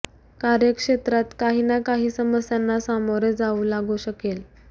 कार्यक्षेत्रात काही ना काही समस्यांना सामोरे जावे लागू शकेल